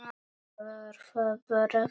Var það bara þetta?